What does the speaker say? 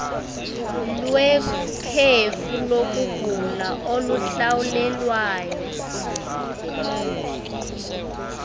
lwekhefu lokugula oluhlawulelwayo